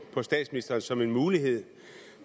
statsministeren som en mulighed